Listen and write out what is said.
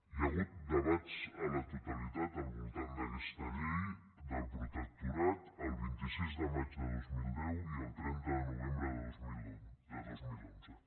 hi ha hagut debats a la totalitat al voltant d’aquesta llei del protectorat el vint sis de maig de dos mil deu i el trenta de novembre de dos mil onze